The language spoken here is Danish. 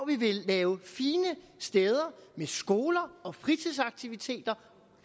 vi vil lave fine steder med skoler og fritidsaktiviteter